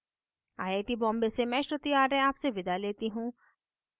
I I T Bombay से मैं श्रुति आर्य आपसे विदा लेती हूँ